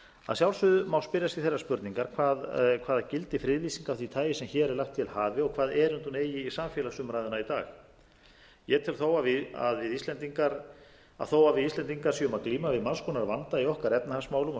að sjálfsögðu má spyrja sig þeirrar spurningar hvaða gildi friðlýsing af því tagi sem hér er lagt til hafi og hvaða erindi hún eigi í samfélagsumræðuna í dag ég tel að þó að við íslendingar séum að glíma við margs konar vanda í okkar efnahagsmálum og